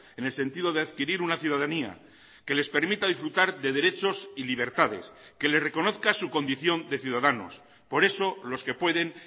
en el sentido de adquirir una ciudadanía que les permita disfrutar de derechos y libertades que le reconozca su condición de ciudadanos por eso los que pueden